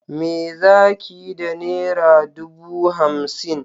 Me zakiyi da nera dubu hamsin?